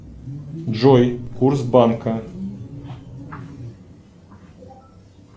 джой курс банка